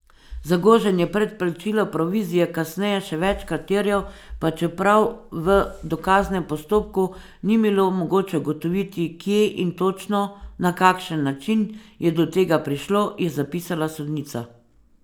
Zagožen je predplačilo provizije kasneje še večkrat terjal, pa čeprav v dokaznem postopku ni bilo mogoče ugotoviti, kje in točno na kakšen način je do tega prišlo, je zapisala sodnica.